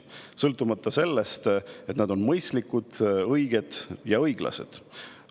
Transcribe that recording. See ei sõltu sellest, kas need on mõistlikud, õiged ja õiglased.